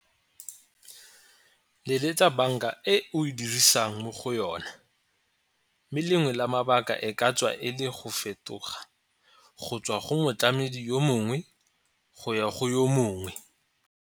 Leletsa banka e o e dirisang mo go yona mme lengwe la mabaka e ka tswa e le go fetoga go tswa go motlameding yo mongwe go ya go yo mongwe.